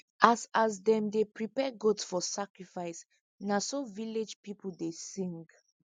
as as them dey prepare goat for sacrifice na so village people dey sing